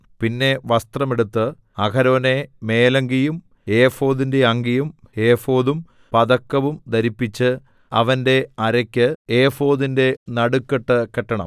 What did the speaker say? പിന്നെ വസ്ത്രം എടുത്ത് അഹരോനെ മേലങ്കിയും ഏഫോദിന്റെ അങ്കിയും ഏഫോദും പതക്കവും ധരിപ്പിച്ച് അവന്റെ അരയ്ക്ക് ഏഫോദിന്റെ നടുക്കെട്ട് കെട്ടണം